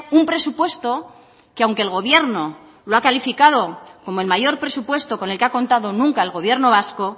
un presupuesto que aunque el gobierno lo ha clasificado como el mayor presupuesto con el que ha contado nunca el gobierno vasco